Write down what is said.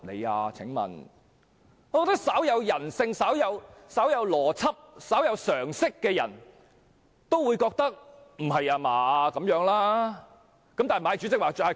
我認為稍有人性、稍有邏輯、稍有常識的人也會認為這樣很有問題。